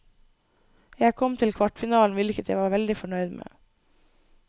Jeg kom til kvartfinalen, hvilket jeg var veldig fornøyd med.